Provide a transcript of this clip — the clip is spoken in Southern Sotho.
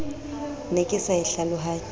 ne ke sa e hlalohanye